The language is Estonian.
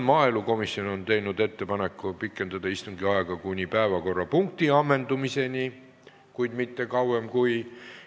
Maaelukomisjon on teinud ettepaneku pikendada istungi aega kuni päevakorrapunkti ammendumiseni, kuid mitte kauem kui kella 14-ni.